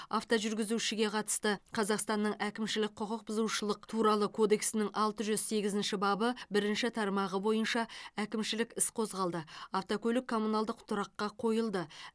автожүргізушіге қатысты қазақстанның әкімшілік құқық бұзушылық туралы кодексінің алты жүз сегізінші бабы бірінші тармағы бойынша әкімшілік іс қозғалды автокөлік коммуналдық тұраққа қойылды